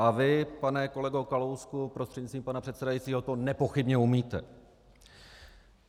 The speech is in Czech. A vy, pane kolego Kalousku prostřednictvím pana předsedajícího, to nepochybně umíte.